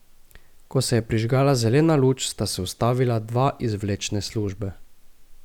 Ko se je prižgala zelena luč, sta se ustavila dva iz vlečne službe.